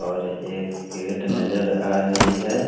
और एक गेट नजर आ रही हैं।